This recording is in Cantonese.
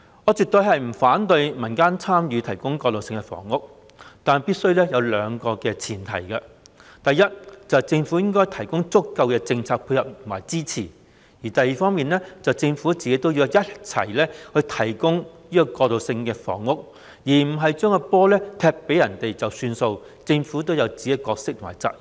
我絕對不反對民間參與提供過渡性房屋，但必須先滿足兩個先決條件：第一，政府須提供足夠的政策配合和支持；第二，政府自己也要提供過渡性房屋，而不是將球踢給民間便了事，政府應有自己的角色和責任。